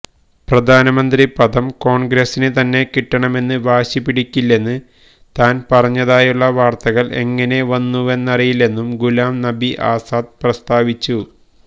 പ്രധാനമന്ത്രി പദം കോണ്ഗ്രസിന് തന്നെ കിട്ടണമെന്ന് വാശിപിടിക്കില്ലെന്ന് താന് പറഞ്ഞതായുള്ള വാര്ത്തകള് എങ്ങനെ വന്നുവെന്നറിയില്ലെന്നും ഗുലാം നബി ആസാദ് പ്രസ്താവിച്ചു